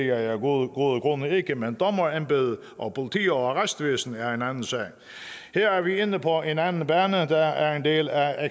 jeg af gode grunde grunde ikke men dommerembedet og politi og arrestvæsen er en anden sag her er vi inde på en anden bane der er en del af